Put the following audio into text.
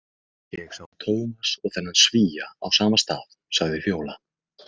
Ég sá Tómas og þennan Svía á sama stað, sagði Fjóla.